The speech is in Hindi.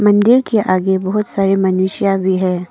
मंदिर के आगे बहुत सारे मनुष्य भी है।